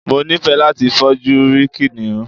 Mo ni fẹ́ láti fojú rí kìnìún.